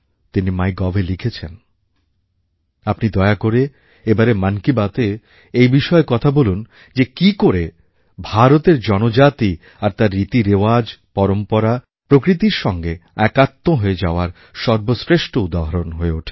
তিনি mygovএ লিখেছেন আপনি দয়া করা এবারের মন কি বাতএ এই বিষয়ে কথা বলুন যে কী করে ভারতের জনজাতি আর তার রীতিরেওয়াজ পরম্পরা প্রকৃতির সঙ্গে একাত্ম হয়ে যাওয়ার সর্বশ্রেষ্ঠ উদাহরণ হয়ে ওঠে